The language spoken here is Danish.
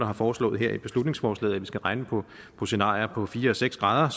har foreslået her i beslutningsforslaget at vi skal regne på på scenarier på fire og seks grader